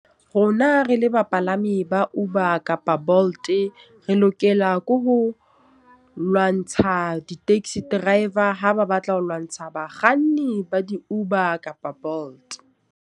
Rona re le bapalami ba Uber kapa Bolt, re lokela ke ho lwantsha di-taxi driver. Ha ba batla ho lwantsha bakganni ba di-Uber kapa Bolt.